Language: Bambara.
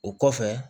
O kɔfɛ